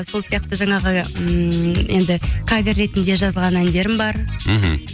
сол сияқты жаңағы ммм енді кавер ретінде жазылған әндерім бар мхм